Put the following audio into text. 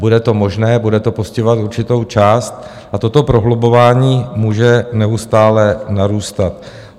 Bude to možné, bude to postihovat určitou část a toto prohlubování může neustále narůstat.